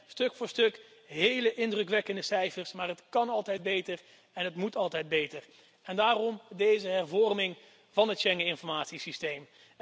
Dat zijn stuk voor stuk hele indrukwekkende cijfers, maar het kan altijd beter en het moet altijd beter, en daarom deze hervorming van het Schengeninformatiesysteem.